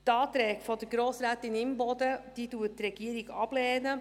Die Anträge von Grossrätin Imboden lehnt die Regierung ab.